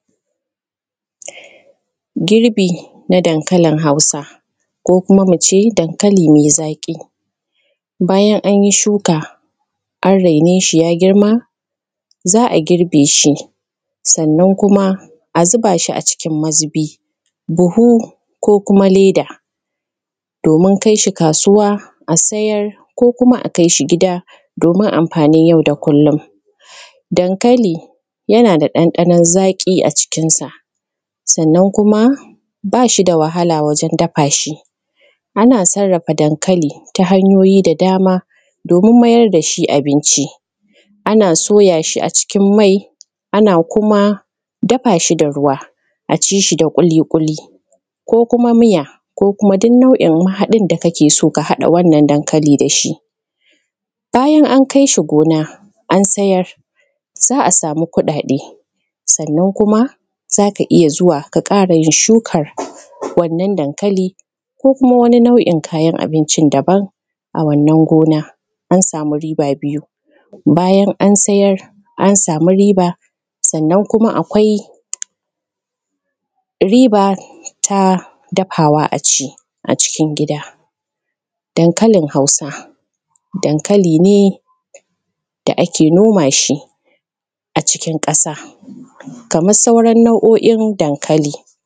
girbi na dankalin hausa ko kuma mu ce dankali mai zaƙi bayan anyi shuka an raine shi ya girma za a girbe shi sannan kuma a zuba shi a cikin mazubi buhu ko kuma leda domin kai shi kasuwa a sayar ko kuma a kai shi gida domin amfanin yau da kullum dankali yana da ɗanɗanon zaƙi a cikinsa sannan kuma ba shi da wahala wajen dafa shi ana sarrafa dankali ta hanyoyi da dama domin mayar da shi abinci ana soya shi a cikin mai ana kuma dafa shi da ruwa a ci shi da ƙuli ƙuli ko kuma miya ko kuma duk nau’in mahaɗin da kake so ka haɗa wannan dankali da shi bayan an kai shi gona an sayar za a samu kuɗaɗe sannan kuma za ka iya zuwa ka ƙara yin shukan wannan dankali ko kuma wani nau’in kayan abincin daban a wannan gona an samu riba biyu bayan an sayar an samu riba sannan kuma akwai riba ta dafawa a ci a cikin gida dankalin hausa dankali ne da ake noma shi a cikin ƙasa kamar sauran nau’o’in dankali